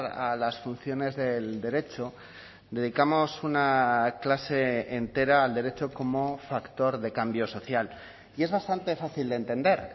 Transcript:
a las funciones del derecho dedicamos una clase entera al derecho como factor de cambio social y es bastante fácil de entender